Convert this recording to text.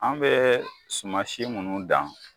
An bɛɛ suman si munnu dan